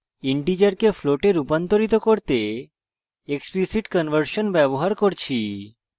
integer float রূপান্তরিত করতে explicit conversion ব্যবহার করছি